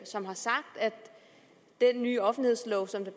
som har sagt at den nye offentlighedslov som der